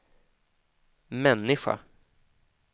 människa